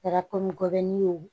Kɛra gɔbɔni ye o